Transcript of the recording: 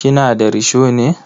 Kina da risho ne?